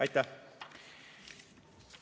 Aitäh!